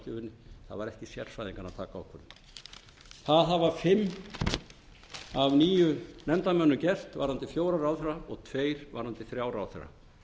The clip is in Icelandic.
það var ekki sérfræðinganna að taka ákvörðunina það hafa fimm af níu nefndarmönnum gert varðandi fjóra ráðherra og tveir varðandi þrjá ráðherra